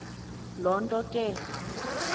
loo nto ke